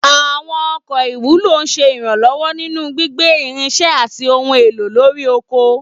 Àwọn ọkọ̀ ìwúlò ń ṣe ìrànlọ́wọ́ nínú gbígbé irinṣẹ́ àti ohun èlò lórí oko.